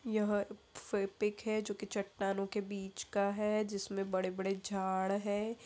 यह पिक है जो कि चट्टानों के बीच का है जिसमें बड़े-बड़े झाड़ है।